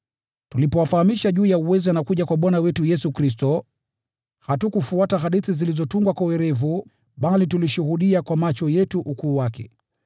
Tulipowafahamisha juu ya uweza na kuja kwa Bwana wetu Yesu Kristo, hatukufuata hadithi zilizotungwa kwa werevu, bali tulishuhudia kwa macho yetu ukuu wake.